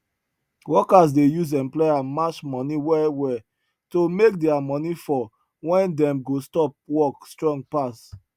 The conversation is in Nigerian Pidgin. workers dey use employer match money well well to make their money for when dem go stop work strong pass